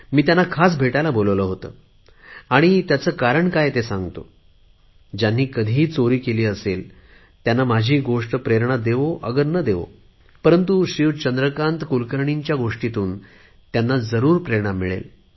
मी त्यांना खास भेटायला बोलावले होते आणि त्याचे कारण काय आहे ते सांगतो ज्यांनी कधीही कर चोरी केली असेल त्यांना माझी ही गोष्ट प्रेरणा देवो अगर न देवो परंतु श्रीयुत चंद्रकांत कुलकर्णी याची गोष्ट मात्र त्यांना जरुर प्रेरणा देईल